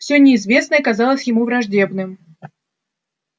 все неизвестное казалось ему враждебным